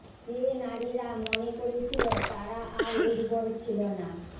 যে নারীরা মনে করেছিল তারা আর উর্বর ছিল না